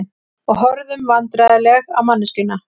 Og horfðum vandræðaleg á manneskjuna.